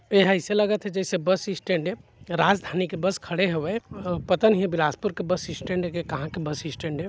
एह ऐसे लगथे जैसे बसस्टैंड हे राजधानी के बस खड़े हवे पता नहीं बिलासपुर के बसस्टैंड ए की कहा के बसस्टैंड ए।